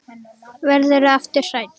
Verður aftur hrædd.